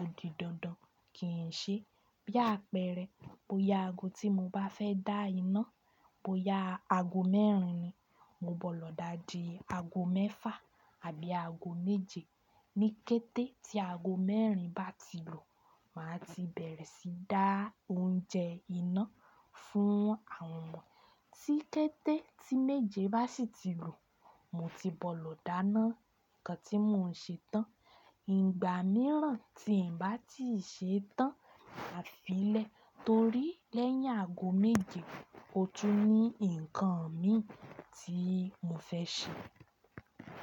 ò di dandan kí n ṣe. Bí àpẹẹrẹ, bó ya aago tí mo bá fẹ́ dá iná, bó ya aago mẹ́rin ni, mo bọ́ lọ dá di aago mẹ́fà àbí aago méje. Níkẹ́tẹ́ tí aago mẹ́rin bá ti lu, màá ti bẹ̀rẹ̀ sí dá oúnjẹ iná fún àwọn ọmọ. Tíkẹ́tẹ́ tí méje bá sì ti lu, mo ti bọ́ lọ dáná ǹkan tí mo n ṣe tán. Ìgbà míràn tí n bá ti ṣe é tán, màá fi lẹ́ torí lẹ́yìn aago méje, o tún ní ǹkan mi tí mo fẹ́ ṣe.